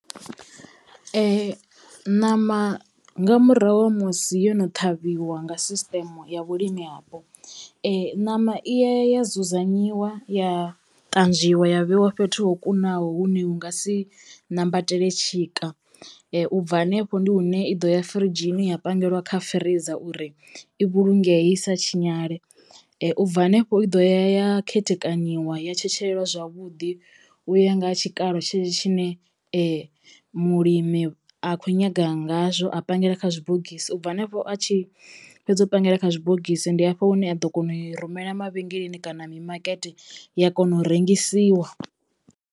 Ṋama nga murahu ha musi yo no ṱhavhiwa nga sisiṱeme ya vhulimi hapo ṋama i yaya ya dzudzanyiwa ya ṱanzwiwa ya vheiwa fhethu ho kunaho hune hu nga si nambatele tshika ubva hanefho ndi hune i ḓo ya firidzhini ya pangelwa kha freezor uri i vhulungee i sa tshinyale ubva hanefho i ḓo ya ya khethekanyiwa ya tshetshelelwa zwavhuḓi u ya nga ha tshikalo tshetsho tshine mulimi a khou nyaga ngazwo a pangela kha zwibogisi ubva hanefho a tshi fhedza u pangela kha zwibogisi ndi hafho hune a ḓo kona u i rumela mavhengeleni kana mimakete ya kona u rengisiwa.